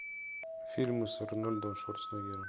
фильмы с арнольдом шварценеггером